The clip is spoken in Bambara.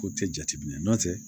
Ko tɛ jateminɛ n'o tɛ